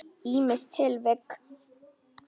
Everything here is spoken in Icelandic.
Ýmis tilvik.